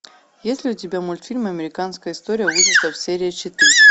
есть ли у тебя мультфильм американская история ужасов серия четыре